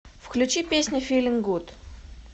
включи песня филин гуд